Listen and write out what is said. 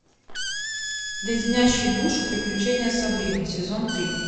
леденящие душу приключения сабрины сезон три